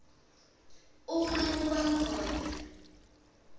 uma kuba khona